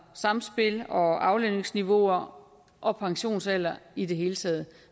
sammenspil og aflønningsniveauer og pensionsalder i det hele taget